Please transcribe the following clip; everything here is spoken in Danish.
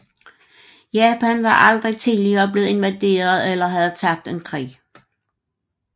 Japan var aldrig tidligere blevet invaderet eller havde tabt en krig